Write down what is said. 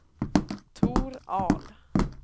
Tor Ahl